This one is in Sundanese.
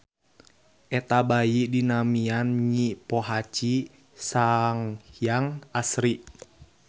Eta bayi dinamian Nyi Pohaci Sanghyang Asri.